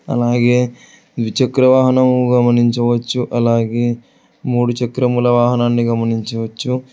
అలాగే ద్విచక్ర వాహనం గమనించవచ్చు అలాగే మూడు చక్రముల వాహనాన్ని గమనించవచ్చు.